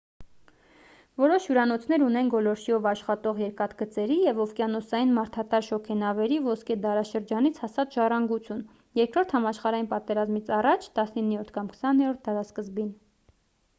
որոշ հյուրանոցներ ունեն գոլորշիով աշխատող երկաթգծերի և օվկիանոսային մարդատար շոգենավերի ոսկե դարաշրջանից հասած ժառանգություն երկրորդ համաշխարհային պատերազմից առաջ 19-րդ կամ 20-րդ դարասկզբին